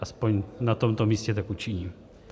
Aspoň na tomto místě tak učiním.